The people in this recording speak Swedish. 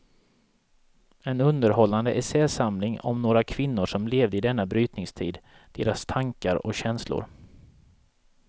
En underhållande essäsamling om några kvinnor som levde i denna brytningstid, deras tankar och känslor.